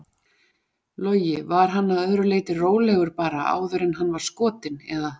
Logi: Var hann að öðru leyti rólegur bara áður en hann var skotinn eða?